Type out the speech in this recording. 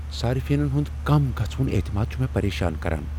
صٲرفینن ہنٛد کم گژھہٕ وُن اعتماد چُھ مےٚ پریشان کران۔